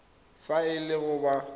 fa e le gore ba